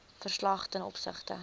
verslag ten opsigte